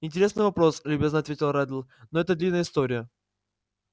интересный вопрос любезно ответил реддл но это длинная история